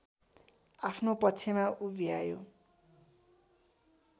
आफ्नो पक्षमा उभ्यायो